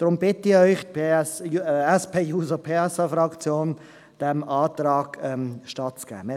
Ich bitte Sie deswegen, die SP-JUSO-PSA-Fraktion bittet Sie, diesem Antrag stattzugeben.